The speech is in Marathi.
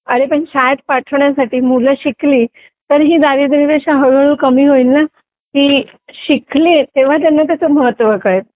पण शाळेत पाठवल्याशिवाय मुलं शिकली तरी दारिद्र रेषा हळूहळू कमी होईल ना ते शिकले तेव्हा त्यांना त्याचे महत्त्व कळेल